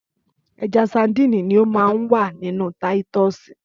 Ẹja sadínì ni o ma n wà ninú táítosì.